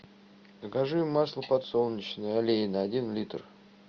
закажи масло подсолнечное олейна один литр